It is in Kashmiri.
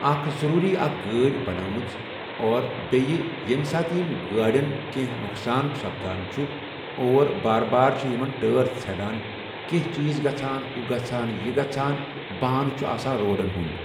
اکھ ضروٗری اکھ گٲڑۍ بَناومٕژ اور بیٚیہِ ییٚمہِ ساتہٕ یِم گاڑٮ۪ن کیٚنٛہہ نۄقصان سَپدان چُھ اور بار بار چھِ یِمن ٹٲر ژَھینان، کیٚنٛہہ چیٖز گژھان، ہُہ گژھان یہِ گژھان بَہانہٕ چھُ آسان روڑن ہُنٛد۔